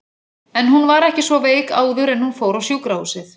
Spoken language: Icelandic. En hún var ekki svo veik áður en hún fór á sjúkrahúsið.